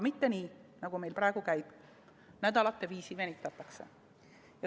Mitte nii, nagu meil praegu käib, et nädalate viisi venitatakse.